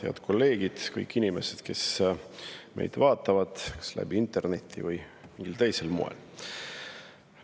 Head kolleegid ja kõik inimesed, kes meid vaatavad kas läbi interneti või mingil teisel moel!